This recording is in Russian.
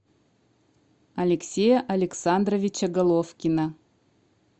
алексея александровича головкина